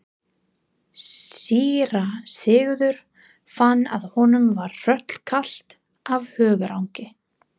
Síra Sigurður fann að honum var hrollkalt af hugarangri.